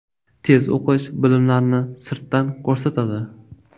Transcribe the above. Tez o‘qish bilimlarni sirtdan ko‘rsatadi.